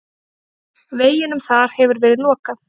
Veginum þar hefur verið lokað.